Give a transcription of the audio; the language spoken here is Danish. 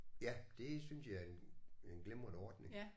Ja det synes jeg er en en glimrende ordning